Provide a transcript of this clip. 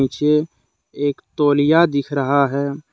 ये एक तौलिया दिख रहा है।